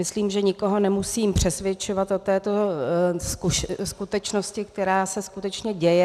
Myslím, že nikoho nemusím přesvědčovat o této skutečnosti, která se skutečně děje.